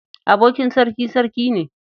Abokin sarki, sarki ne.